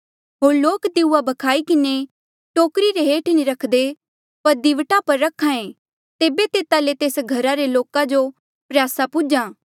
होर लोक दीऊया भ्खाई किन्हें टोकरी रे हेठ नी रख्दे पर दीवटा पर रख्हा ऐें तेबे तेता ले तेस घरा रे सारे लोका जो प्रयासा पुज्हा